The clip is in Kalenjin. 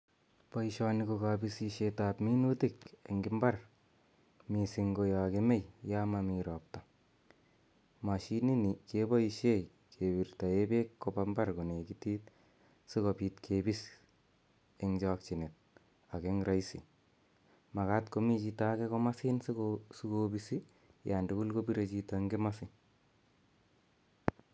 Poishoni ko kapisishetap minutik en imbar missing' ko ya kemei, ya mami ropta. Mashinini kepaishe kepirtae peek kopa mbar konekitit asikopit kipis eng' chakchinet ak eng raisi. Makat komi chito age komasin siko pisi yandugul kopire chito en komasi.